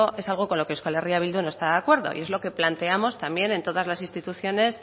es algo con lo que euskal herria bildu no está de acuerdo y es lo que planteamos también en todas las instituciones